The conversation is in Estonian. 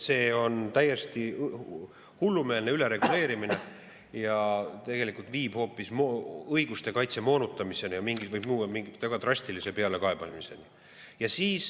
See on täiesti hullumeelne ülereguleerimine ja tegelikult viib hoopis õiguste kaitse moonutamiseni ja võib viia väga drastilise pealekaebamiseni.